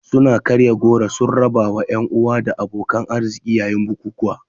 Suna karya goro sun rabawa 'yan uwa da abokan arziki yayin bukukuwan.